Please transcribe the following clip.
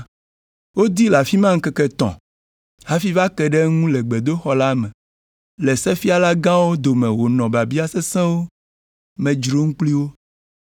Wodii le afi ma ŋkeke etɔ̃ hafi va ke ɖe eŋu le gbedoxɔ la me le sefialagãwo dome wònɔ biabia sesẽwo me dzrom kpli wo.